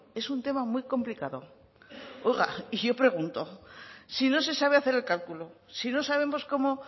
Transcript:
es un tema muy complicado oiga y yo pregunto si no se sabe hacer el cálculo si no sabemos cómo